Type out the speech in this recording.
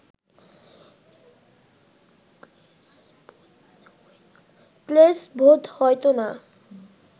ক্লেশ বোধ হইত না